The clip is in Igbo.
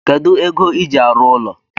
Kedu ego iji arụ ụlọ